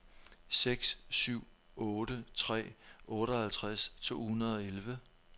seks syv otte tre otteoghalvtreds to hundrede og elleve